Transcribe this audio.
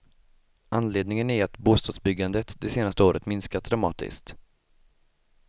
Anledningen är att bostadsbyggandet det senaste året minskat dramatiskt.